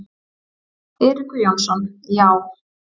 Eiríkur Jónsson: Já.